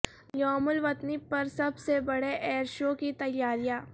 یوم الوطنی پر سب سے بڑے ایئر شو کی تیاریاں